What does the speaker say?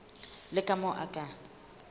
le ka moo o ka